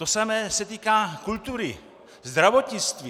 To samé se týká kultury, zdravotnictví.